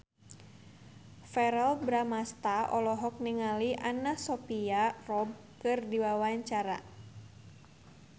Verrell Bramastra olohok ningali Anna Sophia Robb keur diwawancara